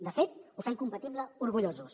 de fet ho fem compatible orgullosos